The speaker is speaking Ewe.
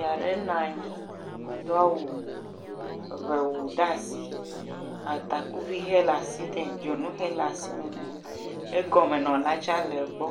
…nɔ anyi do awu, ŋewu ɖe asi, atakuvi he le asi nɛ, dzonunhe le asi me nɛ, egɔme le… le gbɔ,